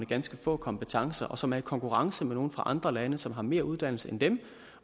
ganske få kompetencer og som er i konkurrence med nogle fra andre lande som har mere uddannelse end dem